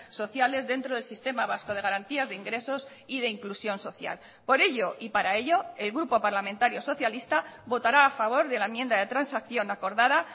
sociales dentro del sistema vasco de garantías de ingresos y de inclusión social por ello y para ello el grupo parlamentario socialista votará a favor de la enmienda de transacción acordada